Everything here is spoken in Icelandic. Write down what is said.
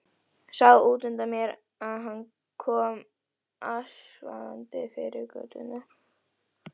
Sá útundan mér að hann kom askvaðandi yfir götuna.